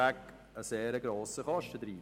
Das schleckt keine Geiss weg.